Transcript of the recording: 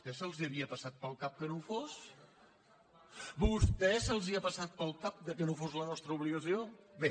tès els havia passat pel cap que no ho fos a vostès els ha passat pel cap que no fos la nos·tra obligació bé